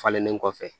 Falenlen kɔfɛ